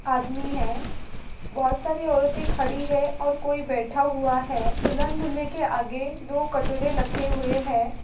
आदमी है बहुत सारी औरते खड़ी है और कोई बेटा हुआ है दुल्हन दूल्हे के आगे दो कटोरे लखे हुए है।